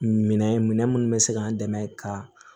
Minɛn minɛn munnu bɛ se k'an dɛmɛ ka